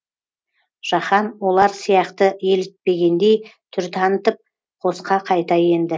жаһан олар сияқты елітпегендей түр танытып қосқа қайта енді